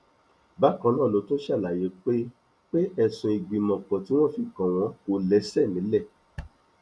bákan náà ló tún ṣàlàyé pé pé ẹsùn ìgbìmọpọ tí wọn fi kàn wọn kò lẹsẹ nílẹ